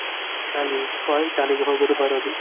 ಖಾಲಿ college ಶಾಲೆಗ್ ಹೋಗೋದು ಬರುದು.